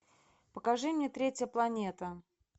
покажи мне третья планета